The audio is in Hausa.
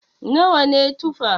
Nawa ne Tufa?